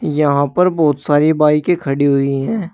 यहां पर बहोत सारी बाइके की खड़ी हुई हैं।